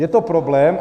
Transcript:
Je to problém.